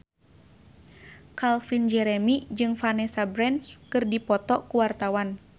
Calvin Jeremy jeung Vanessa Branch keur dipoto ku wartawan